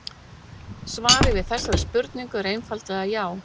Svarið við þessari spurningu er einfaldlega já.